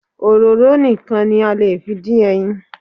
Òróró nìkan ni a lè fi dín ẹyin